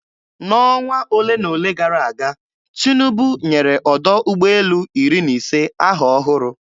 N'ọnwa ole na ole gara aga, Tinubu nyere ọdọ ụgbọelu iri na ise aha ọhụrụ.